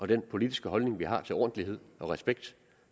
den politiske holdning vi har til ordentlighed og respekt